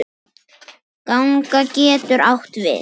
Ganga getur átt við